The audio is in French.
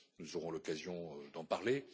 Nous aurons l'occasion d'en parler.